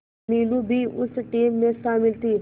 मीनू भी उस टीम में शामिल थी